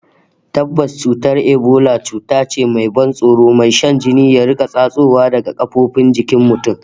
Tabbas, cutar Ebola cuta ce mai ban tsoro, mai sa jini ya riƙa tsatsowa daga kafofin jikin mutum